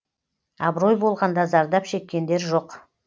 абырой болғанда зардап шеккендер жоқ